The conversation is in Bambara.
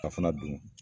Ka fana don